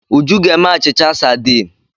Uju ga-eme achịcha sadiin.